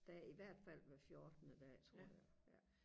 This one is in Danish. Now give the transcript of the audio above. der i hvert fald hver fjortende dag tror jeg ja